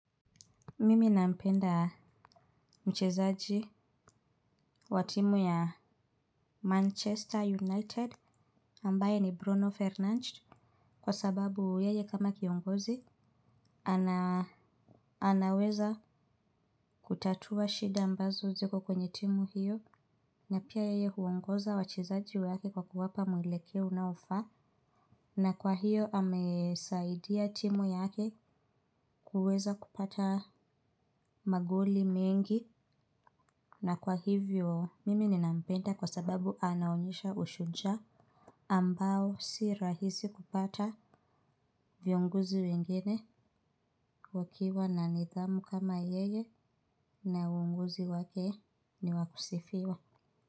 Mimi nampenda mchezaji wa timu ya Manchester United ambaye ni Bruno Fernandes kwa sababu yeye kama kiongozi anaweza kutatua shida ambazo ziko kwenye timu hiyo na pia yeye huongoza wachezaji wa yake kwa kuwapa mwelekeo unaofa na kwa hiyo amesaidia timu yake kuweza kupata magoli mengi. Na kwa hivyo, mimi ninampenda kwa sababu anaonyesha ushujaa ambao si rahisi kupata vyongozi wengine wakiwa na nidhamu kama yeye na uongozi wake ni wakusifiwa.